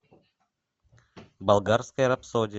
болгарская рапсодия